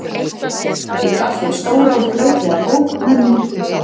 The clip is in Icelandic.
Ég gaf þeim stóra og skrautlega bók með myndum frá